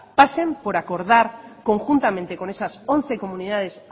pasen por acordar conjuntamente con esas once comunidades